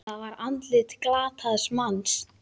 Það var andlit glataðs manns.